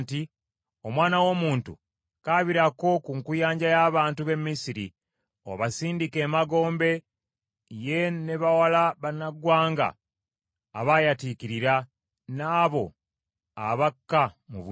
“Omwana w’omuntu, kaabirako ku nkuyanja y’abantu b’e Misiri, obasindike emagombe ye n’abawala bannaggwanga abaayatiikirira, n’abo abakka mu bunnya.